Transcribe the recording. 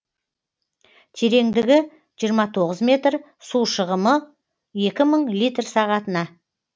тереңдігі жиырма тоғыз метр су шығымы екі мың литр сағатына